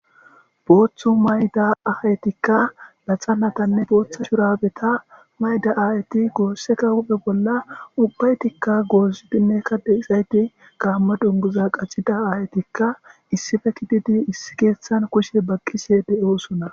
Booththu mayida asatikka laxananne booththa shurabeta mayida aayeti goosseka huphe bolla ubbaytikka gozzidinneka de'izayti gaammo dunguza qaxida aayetikka issippe gididi issi keeththan kushe baqqishe de'osona.